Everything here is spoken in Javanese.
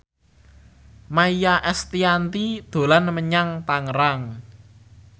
Maia Estianty dolan menyang Tangerang